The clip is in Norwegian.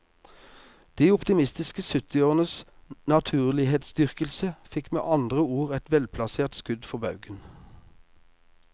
De optimistiske syttiårenes naturlighetsdyrkelse fikk med andre ord et velplassert skudd for baugen.